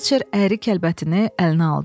Fetçer əyri kəlbətini əlinə aldı.